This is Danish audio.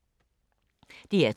DR2